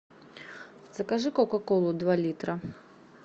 закажи кока колу два литра